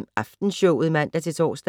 19:05: Aftenshowet (man-tor)